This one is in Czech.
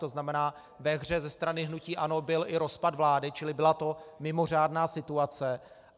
To znamená, ve hře ze strany hnutí ANO byl i rozpad vlády, čili byla to mimořádná situace.